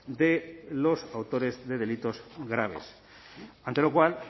de los autores de delitos graves ante lo cual